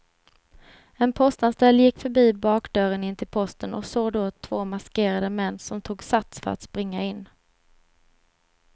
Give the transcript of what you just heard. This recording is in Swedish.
En postanställd gick förbi bakdörren in till posten och såg då två maskerade män som tog sats för att springa in.